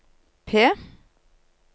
P